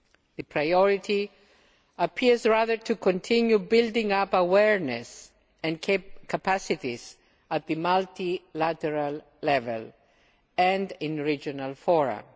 The priority appears to be to continue building up awareness and capacities at the multilateral level and in regional fora.